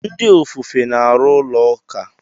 Ndị ofufe na-arụ ụlọ ụka.